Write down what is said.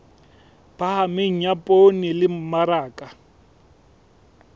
phahameng ya poone le mmaraka